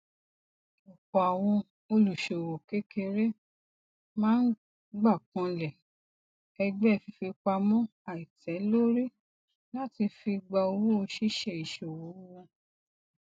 ọpọ àwọn olùṣòwò kékeré máa ń gbákànlẹ ẹgbẹ fífipamọ àìtẹlórí láti fi gba owó ṣíṣe ìṣòwò wọn